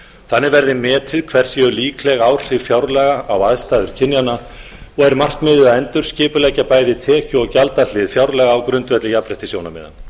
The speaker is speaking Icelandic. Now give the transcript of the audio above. þannig verði metið hver séu líkleg áhrif fjárlaga á aðstæður kynjanna og er markmiðið að endurskipuleggja bæði tekju og gjaldahlið fjárlaga á grundvelli jafnréttissjónarmiða